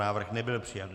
Návrh nebyl přijat.